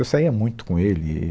Eu saía muito com ele, e